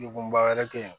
Degunba wɛrɛ kɛ